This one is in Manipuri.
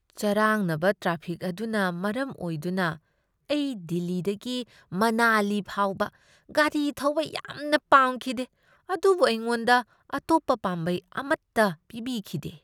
ꯆꯔꯥꯡꯅꯕ ꯇ꯭ꯔꯥꯐꯤꯛ ꯑꯗꯨꯅ ꯃꯔꯝ ꯑꯣꯏꯗꯨꯅ ꯑꯩ ꯗꯤꯜꯂꯤꯗꯒꯤ ꯃꯅꯥꯂꯤ ꯐꯥꯎꯕ ꯒꯥꯔꯤ ꯊꯧꯕ ꯌꯥꯝꯅ ꯄꯥꯝꯈꯤꯗꯦ, ꯑꯗꯨꯕꯨ ꯑꯩꯉꯣꯟꯗ ꯑꯇꯣꯞꯄ ꯄꯥꯝꯕꯩ ꯑꯃꯠꯇ ꯄꯤꯕꯤꯈꯤꯗꯦ꯫